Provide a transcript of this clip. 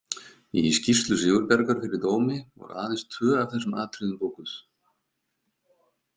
Í skýrslu Sigurbjargar fyrir dómi voru aðeins tvö af þessum atriðum bókuð.